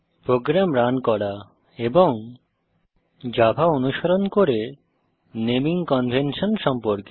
programme run করা এবং Java অনুসরণ করে নেমিং কনভেনশন সম্পর্কে